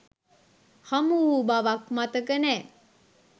හමු වූ බවක් මතක නෑ.